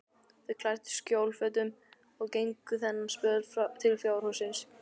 Þau klæddust skjólfötum og gengu þennan spöl til fjárhússins.